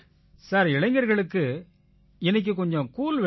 sir இளைஞர்களுக்கு இன்னைக்கு கொஞ்சம் கூல் வேணும்